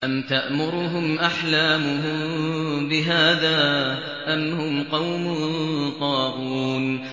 أَمْ تَأْمُرُهُمْ أَحْلَامُهُم بِهَٰذَا ۚ أَمْ هُمْ قَوْمٌ طَاغُونَ